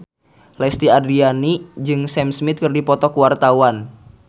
Lesti Andryani jeung Sam Smith keur dipoto ku wartawan